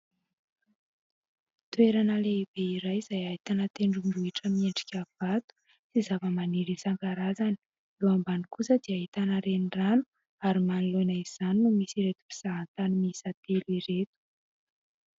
toerana lehibe iray izay hahitana tendrom-bohitra miendrika vato sy zava-maniry sangarazany lo ambany kosa dia hahitana reny rano ary manoloina izany no misy ireto mpisahantany mihisatelo ireto